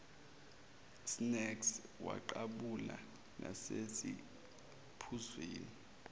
snacks waqhabula nasesiphuzweni